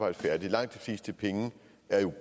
at få